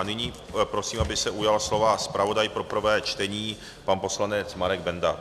A nyní prosím, aby se ujal slova zpravodaj pro prvé čtení pan poslanec Marek Benda.